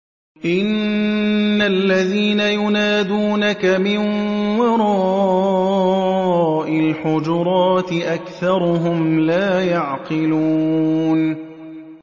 إِنَّ الَّذِينَ يُنَادُونَكَ مِن وَرَاءِ الْحُجُرَاتِ أَكْثَرُهُمْ لَا يَعْقِلُونَ